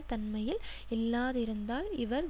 தன்மையில் இல்லாதிருந்தால் இவர்